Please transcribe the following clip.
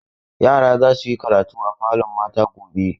Yara za su yi karatu a falon mata gobe.